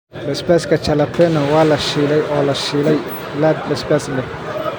Basbaaska Jalapeno waa la shiilay oo la shiilay laad basbaas leh.